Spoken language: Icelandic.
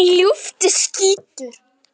Ljúft líf.